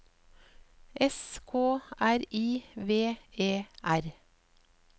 S K R I V E R